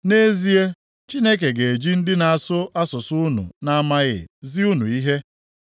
Nʼezie, Chineke ga-eji ndị na-asụ asụsụ unu na-amaghị zi unu ihe.